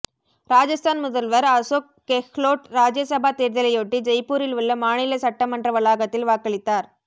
ராஜஸ்தான் முதல்வர் அசோக் கெஹ்லோட் ராஜ்யசபா தேர்தலையொட்டி ஜெய்ப்பூரில் உள்ள மாநில சட்டமன்ற வளாகத்தில் வாக்களித்தார்